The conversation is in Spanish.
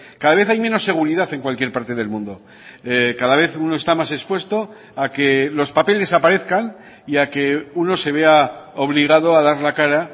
cada vez hay menos seguridad en cualquier parte del mundo cada vez uno está más expuesto a que los papeles aparezcan y a que uno se vea obligado a dar la cara